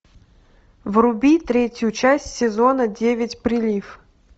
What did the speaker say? вруби третью часть сезона девять прилив